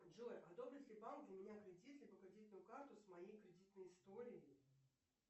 джои одобрит ли банк для меня кредит либо кредитную карту с моей кредитной историей